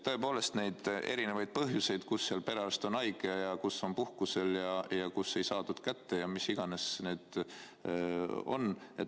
Tõepoolest, on erinevaid põhjuseid – kus on perearst haige, kus ta on puhkusel ja kus ei saadud kedagi kätte ja mis iganes need põhjused on.